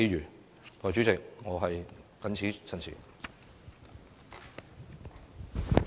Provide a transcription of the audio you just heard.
代理主席，我謹此陳辭。